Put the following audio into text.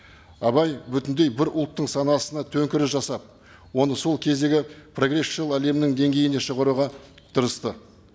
абай бүтіндей бір ұлттың санасына төңкеріс жасап оны сол кездегі прогрессшыл әлемнің деңгейіне шығаруға тырысты